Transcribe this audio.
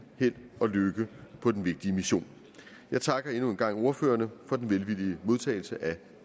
held og lykke på den vigtige mission jeg takker endnu en gang ordførerne for den velvillige modtagelse af